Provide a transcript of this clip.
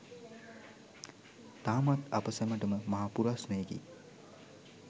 තාමත් අප සැමටම මහා පුරස්නයකි